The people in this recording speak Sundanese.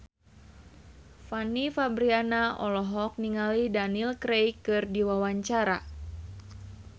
Fanny Fabriana olohok ningali Daniel Craig keur diwawancara